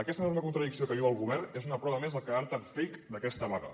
aquesta enorme contradicció que viu el govern és una prova més del caràcter fake d’aquesta vaga